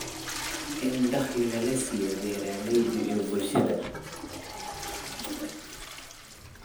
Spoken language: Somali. In dakhliga la siiyo beeralayda iyo bulshada.